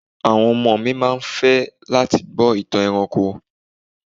Àwọn ọmọ mi ma fẹ́ láti gbọ́ ìtàn ẹranko.